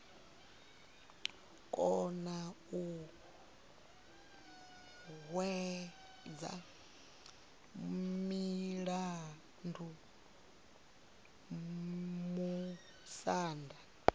kona u hwedza mulandu musanda